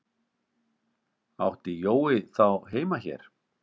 Átti Jói þá heima hér?